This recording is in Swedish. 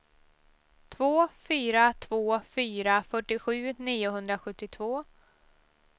två fyra två fyra fyrtiosju niohundrasjuttiotvå